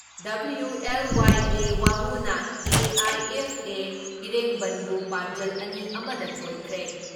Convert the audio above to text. WLYA ꯋꯥꯡꯉꯨꯅ AIFA ꯏꯔꯦꯡꯕꯟꯕꯨ ꯄꯥꯟꯖꯜ ꯑꯅꯤꯑꯃ ꯗ ꯊꯣꯏꯈ꯭ꯔꯦ ꯫